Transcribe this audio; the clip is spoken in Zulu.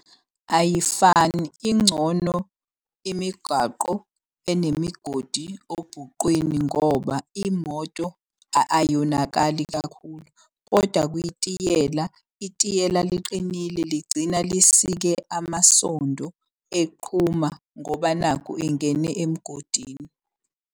Ayifani ingcono imigwaqo enemigodi obhuqwini ngoba imoto ayonakali kakhulu. Kodwa kwitiyela, itiyela liqinile ligcina lisike amasondo eqhuma ngoba nakhu ingene emgodini.